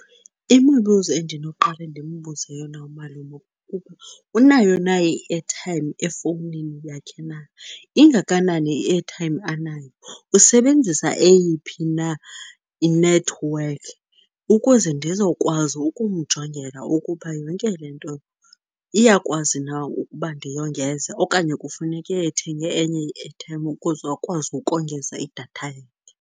Imibuzo endinoqale ndimbuze yona umalume unayo na i-airtime efowunini yakhe na, ingakanani i-airtime anayo, usebenzisa eyiphi na i-network. Ukuze ndizokwazi ukumjongela ukuba yonke le nto iyakwazi na ukuba ndiyongeze, okanye kufuneke ethenge enye i-airtime ukuze akwazi ukongeza idatha yakhe.